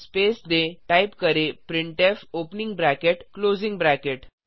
space दें type करें printf opening bracket closing bracket